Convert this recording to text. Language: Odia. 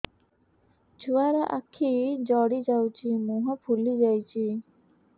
ଛୁଆର ଆଖି ଜଡ଼ି ଯାଉଛି ମୁହଁ ଫୁଲି ଯାଇଛି